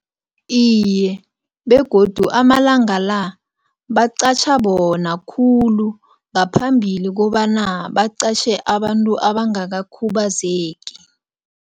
Iye, begodu amalanga la baqatjha bona khulu ngaphambili kobana baqatjhe abantu abangakakhubazeki.